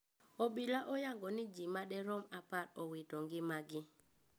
Obila oyango ni jii maderom apar owito ngima gi